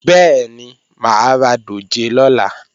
Bẹ́ẹ̀ni, mà á ra dòjé lọ́la